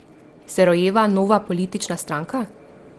Se rojeva nova politična stranka?